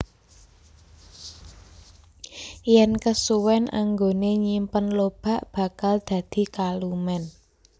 Yen kesuwèn anggone nyimpen lobak bakal dadi kalumen